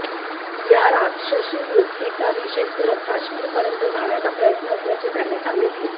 या राक्षसी वृत्तीचा निषेध करत कश्मिरपर्यंत जाण्याचा प्रयत्न असल्याचे त्याने सागितले